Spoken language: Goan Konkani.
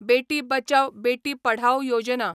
बेटी बचाव, बेटी पढाओ योजना